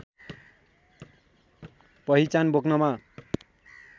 पहिचान बोक्नमा